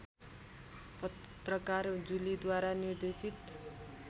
पत्रकार जुलीद्वारा निर्देशित